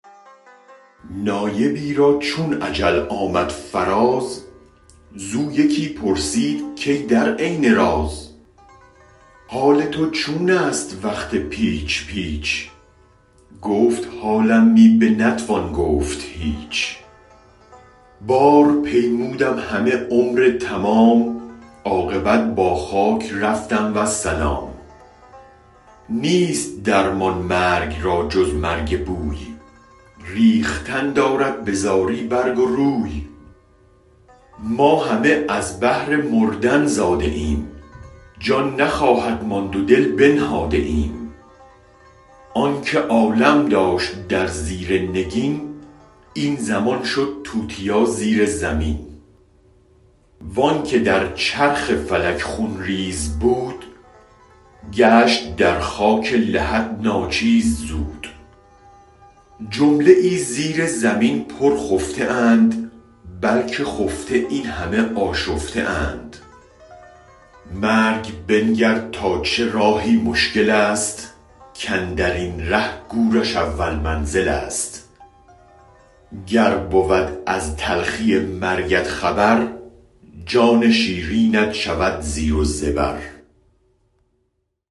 نایبی را چون اجل آمد فراز زو یکی پرسید کای در عین راز حال تو چونست وقت پیچ پیچ گفت حالم می بنتوان گفت هیچ بار پیمودم همه عمرتمام عاقبت با خاک رفتم والسلام نیست درمان مرگ را جز مرگ بوی ریختن دارد بزاری برگ و روی ما همه از بهر مردن زاده ایم جان نخواهد ماند و دل بنهاده ایم آنک عالم داشت در زیر نگین این زمان شد توتیا زیرزمین وانک در چرخ فلک خون ریز بود گشت در خاک لحد ناچیز زود جمله زیرزمین پرخفته اند بلک خفته این هم آشفته اند مرگ بنگر تا چه راهی مشکل است کاندرین ره گورش اول منزل است گر بود از تلخی مرگت خبر جان شیرینت شود زیر و زبر